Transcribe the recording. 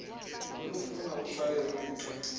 olufuna utshaye kwixa